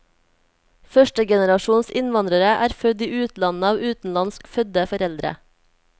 Førstegenerasjons innvandrere er født i utlandet av utenlandsk fødte foreldre.